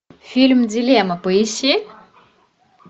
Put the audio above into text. фильм дилемма поищи